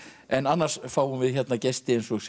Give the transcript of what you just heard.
en annars fáum við hérna gesti eins og